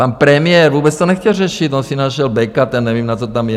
Pan premiér vůbec to nechtěl řešit, on si našel Beka, ten nevím, na co tam je.